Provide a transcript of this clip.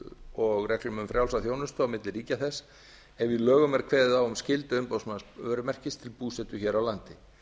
og reglum um frjálsa þjónustu milli ríkja þess ef í lögum er kveðið á um skyldu umboðsmanns vörumerkis til búsetu hér á landi